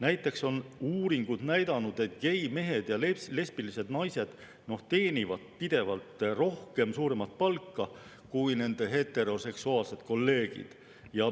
Näiteks on uuringud näidanud, et geimehed ja lesbilised naised teenivad pidevalt suuremat palka kui nende heteroseksuaalsed kolleegid.